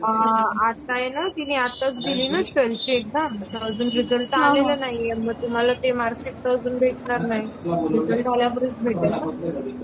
आणि मग त्यांना कॉल करून सांगून देईल